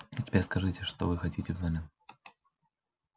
а теперь скажите что вы хотите взамен